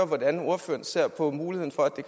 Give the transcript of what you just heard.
hvordan ordføreren ser på muligheden for at det